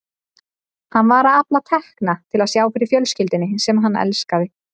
Hann var að afla tekna til að sjá fyrir fjölskyldunni sem hann elskaði.